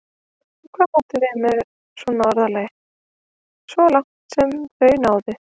Hvað áttu við með svona orðalagi: svo langt sem þau náðu?